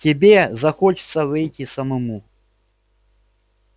тебе захочется выйти самому